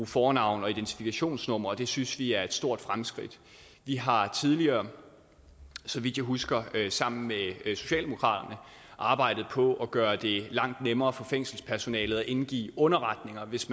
fornavn og identifikationsnummer og det synes vi er et stort fremskridt vi har tidligere så vidt jeg husker sammen med socialdemokraterne arbejdet på at gøre det langt nemmere for fængselspersonalet at indgive underretninger hvis